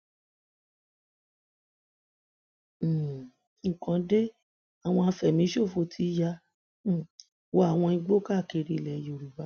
um nǹkan de àwọn àfẹmíṣòfò ti ya um wọ àwọn igbó káàkiri ilẹ yorùbá